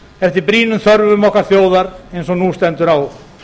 eftir brýnum þörfum okkar þjóðar eins og nú stendur á